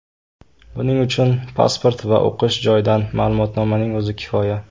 Buning uchun pasport va o‘qish joyidan ma’lumotnomaning o‘zi kifoya.